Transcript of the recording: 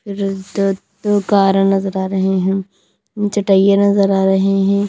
दो कारण नजर आ रहे हैं चटैया नजर आ रहे हैं।